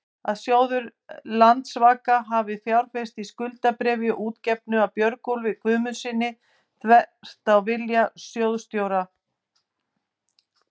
að sjóður Landsvaka hafi fjárfest í skuldabréfi útgefnu af Björgólfi Guðmundssyni, þvert á vilja sjóðsstjóra?